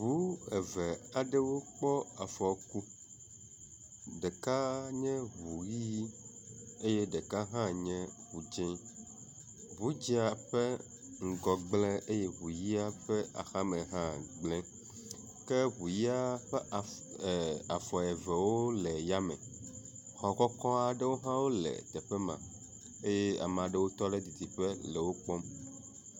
ʋú eve aɖewo kpɔ afɔku ɖeka nye ʋu ɣi eye ɖeka hã nye ʋu dzĩ, ʋú dzĩa ƒe ŋgɔ gblē eye ʋu yia ƒe axame hã gblē ke ʋu yia ƒe asi afɔ evewo le yame , xɔ kɔkɔ́aɖewo hã le teƒe ma eye amalewo tɔɖe dzidziƒe le wokpɔm